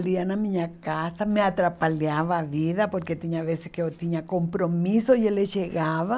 ele ia na minha casa, me atrapalhava a vida, porque tinha vezes que eu tinha compromisso e ele chegava.